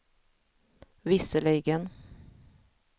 visserligen